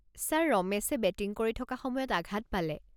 Sir, ৰমেশে batting কৰি থকা সময়ত আঘাত পালে।